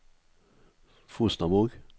Fosnavåg